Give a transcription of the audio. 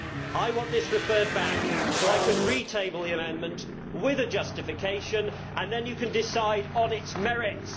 I want this referred back so I can re table the amendment with a justification, and then the House can decide on its merits.